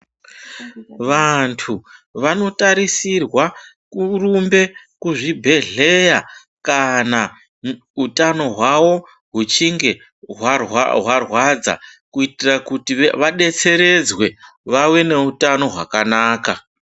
Vantu vanotarisirwa kurumbe kuzvibhehleya kana utano hwavo huchinge hwarwadza kuitira kuti vadetseredzwe vave neutano hwakanaka.